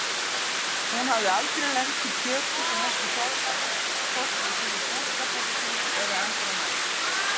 Hún hafði aldrei lent á kjöti sem ekki soðnaði, hvorki í sinni búskapartíð eða endranær.